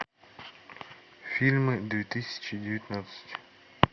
фильмы две тысячи девятнадцать